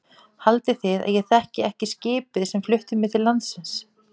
Haldið þið að ég þekki ekki skipið sem flutti mig til landsins.